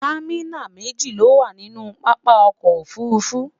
támínà méjì ló wà nì pápá ọkọ̀ òfurufú